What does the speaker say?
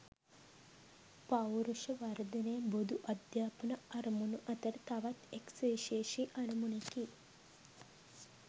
පෞරුෂ වර්ධනය බොදු අධ්‍යාපන අරමුණු අතර තවත් එක් සුවිශේෂී අරමුණකි.